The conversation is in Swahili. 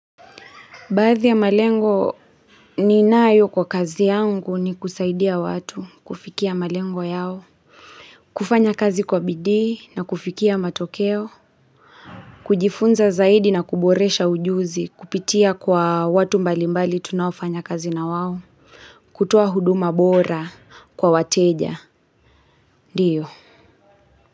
Baadhi ya malengo ninayo kwa kazi yangu ni kusaidia watu kufikia malengo yao. Kufanya kazi kwa bidii na kufikia matokeo. Kujifunza zaidi na kuboresha ujuzi kupitia kwa watu mbali mbali tunaofanya kazi na wao. Kutoa huduma bora kwa wateja. Ndiyo.